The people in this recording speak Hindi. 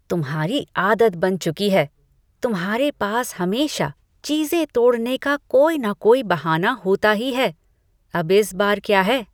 तुम्हारी आदत बन चुकी है, तुम्हारे पास हमेशा चीज़ें तोड़ने का कोई ना कोई बहाना होता ही है। अब इस बार क्या है?